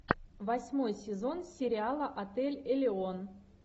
восьмой сезон сериала отель элеон